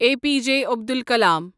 A P J Abdul کلام